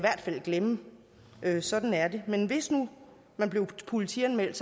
glemme sådan er det men hvis nu man blev politianmeldt